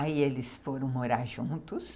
Aí eles foram morar juntos.